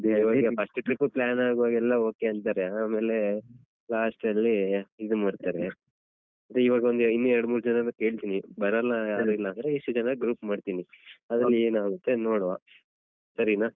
ಈವಾಗ first time ಆಗುವಾಗ ಎಲ್ಲಾ okay ಅಂತಾರೆ ಆಮೇಲೆ last ಅಲ್ಲಿ ಇದು ಮಾಡ್ತಾರೆ ಅದೇ ಈವಾಗ್ ಒಂದ್ ಇನ್ನು ಎರಡು ಮೂರ್ ಜನರನ್ನ ಕೇಳ್ತೀನಿ ಬರಲ್ಲ ಆತರ ಅಂದ್ರೆ ಇಷ್ಟು ಜನರ group ಮಾಡ್ತೀನಿ. ಆಮೇಲೆ ಏನಾಗುತ್ತೆ ನೋಡುವ ಸರಿನಾ.